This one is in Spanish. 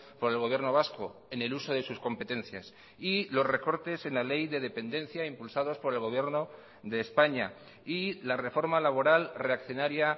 por el gobierno vasco en el uso de sus competencias y los recortes en la ley de dependencia impulsados por el gobierno de españa y la reforma laboral reaccionaria